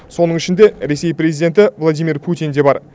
соның ішінде ресей президенті владимир путин де бар